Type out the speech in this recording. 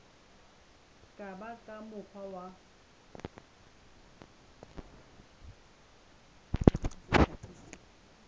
ka ba ka mokgwa wa